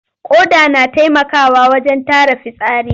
Ƙoda na taimakawa wajen tara fitsari.